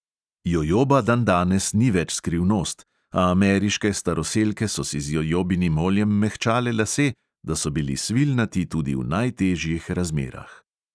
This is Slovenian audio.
Jojoba dandanes ni več skrivnost, a ameriške staroselke so si z jojobinim oljem mehčale lase, da so bili svilnati tudi v najtežjih razmerah.